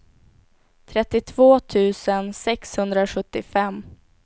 trettiotvå tusen sexhundrasjuttiofem